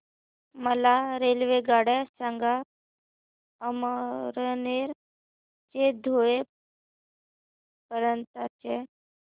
मला रेल्वेगाड्या सांगा अमळनेर ते धुळे पर्यंतच्या